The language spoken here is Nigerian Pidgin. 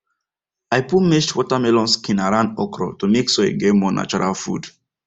i put mashed watermelon skin around okra to make soil get more natural food